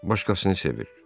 Başqasını sevir.